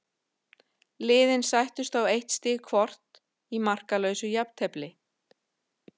Liðin sættust á eitt stig hvort í markalausu jafntefli.